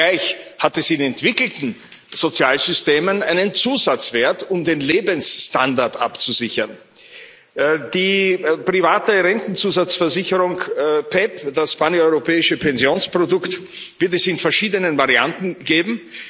Zugleich hat es in entwickelten Sozialsystemen einen Zusatzwert, um den Lebensstandard abzusichern. Die private Rentenzusatzversicherung PEPP, das paneuropäische Pensionsprodukt, wird es in verschiedenen Varianten geben.